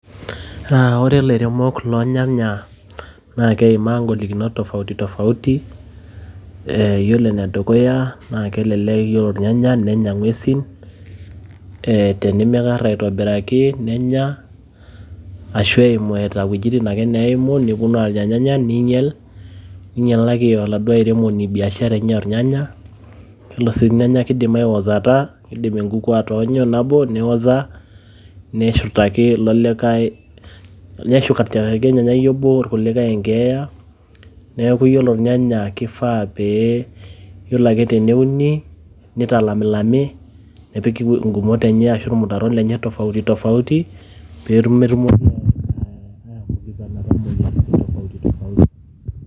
Aaah ore lairemok loo nyanya naa keimaa ing`olikinot tofauti tofauti. Yiolo ene dukuya naa kelelek yiolo irnyanya nenya ing`uesin ee tenimikarra aitobiraki nenya ashu eimu eeta wuejitin ake neimu neponu aanya ilnyanya ninyial. Ninyialaki oladuo airemoni biashara enye oo ilnyanya. Ore sii ilnyanya kidim aiwosota, kidim enkukuu atoonya nabo niwosa neshurtaki likae. Neshurtaki olnyanyai obo irkulikae enkeeya niaku ore ilnyanya keifaa ore ake pee euni, nitalami lami nepiki ng`umot enye ashu ilmutaron lenye tofauti tofauti. pee metumoki atushurtakinoto moyiaritin tofauti tofauti.